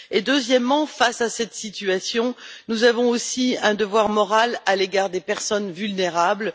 Deuxièmement, face à cette situation, nous avons aussi un devoir moral à l'égard des personnes vulnérables.